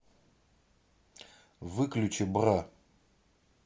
выключи бра